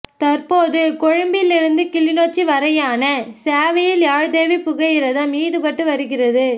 தற்போது கொழும்பில் இருந்து கிளிநொச்சி வரையான சேவையில் யாழ்தேவி புகையிரதம் ஈடுபட்டு வருகிறது